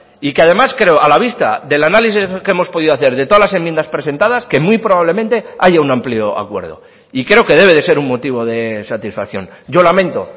y que además creo a la vista del análisis que hemos podido hacer de todas las enmiendas presentadas que muy probablemente haya un amplio acuerdo y creo que debe de ser un motivo de satisfacción yo lamento